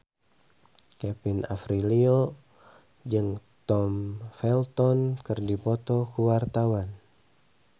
Kevin Aprilio jeung Tom Felton keur dipoto ku wartawan